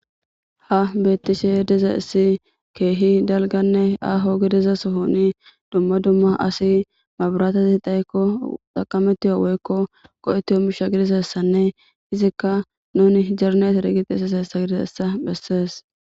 ha beettishe diza issi keehi dalganne aho gidiza sohouni dumma dumma asi maburatazi dhayekko xaqametiyo woykko qo7eti ho misha gidizessanne izikka nuni jerna is re giti isaseessa gidizeessa bessees